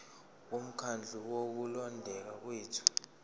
bomkhandlu wokulondeka kwethu